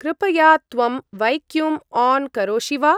कृपया त्वं vacuum on करोषि वा?